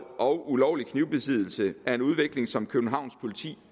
og ulovlig knivbesiddelse er en udvikling som københavns politi